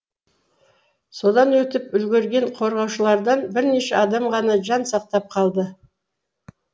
содан өтіп үлгірген қорғаушылардан бірнеше адам ғана жан сақтап қалды